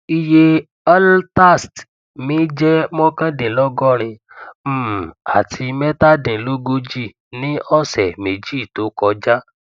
iye altast mi jẹ mokandinlogorin um àti metadinlogoji ní ọsẹ meji tó kọjá